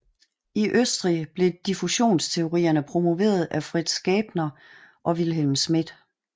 I Østrig blev diffusionsteoriene promoveret af Fritz Graebner og Wilhelm Schmidt